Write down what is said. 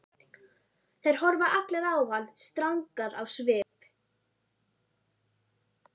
Þær horfa allar á hann strangar á svip.